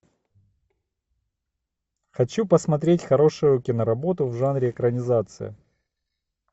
хочу посмотреть хорошую киноработу в жанре экранизация